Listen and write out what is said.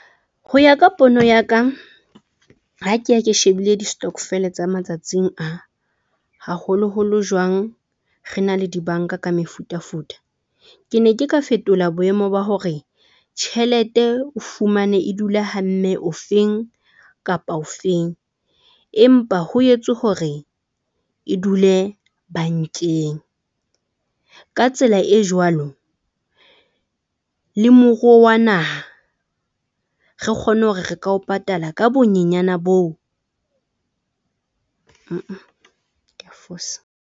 Ho ya ka pono ya ka, ha ke ya ke shebile di stokvel tsa matsatsing a haholo holo jwang re na le di-bank-a ka mefutafuta. Ke ne ke ka fetola boemo ba hore tjhelete o fumane e dula ha mme o feng kapa o feng empa ho etswe hore e dule bank-eng. Ka tsela e jwalo le moruo wa naha. Re kgone hore re ka ho patala ka bonyenyane boo, ke a fosa.